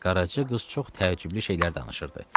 Qaraca qız çox təəccüblü şeylər danışırdı.